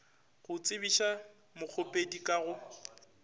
go tsebiša mokgopedi ka go